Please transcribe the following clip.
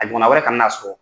A ɲɔgɔna wɛrɛ kana na sɔrɔ.